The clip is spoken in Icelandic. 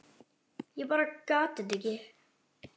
Ég bara gat þetta ekki.